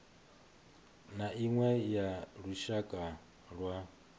na iṅwe ya lushaka lwa